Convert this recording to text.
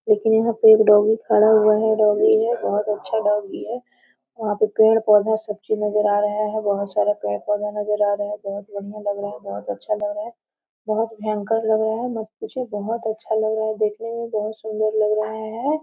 लेकिन यहाँ पे एक यहाँ पे एक डॉगी खड़ा हुआ है डॉगी है बहोत अच्छा डॉगी है वहाँ पे पेड़-पौधा सब चीज़ नजर आ रहा है बहोत सारा पेड़-पौधा नजर आ रहा है बहोत बढ़िया लग रहा है बहोत अच्छा लग रहा है बहोत भयंकर लग रहा है मत पूछिए बहोत अच्छा लग रहा है देखने में बहोत सुन्दर लग रहा है।